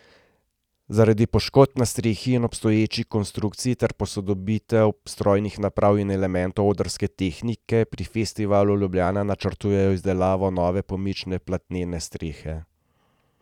Zaradi poškodb na strehi in obstoječi konstrukciji ter posodobitev strojnih naprav in elementov odrske tehnike pri Festivalu Ljubljana načrtujejo izdelavo nove pomične platnene strehe.